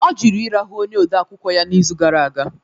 Ọ jụrụ ịrahụ onye odeakwụkwọ ya n'izu gara aga